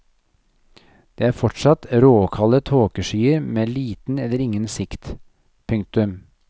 Det er fortsatt råkalde tåkeskyer med liten eller ingen sikt. punktum